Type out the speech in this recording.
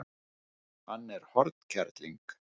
Hann er hornkerling.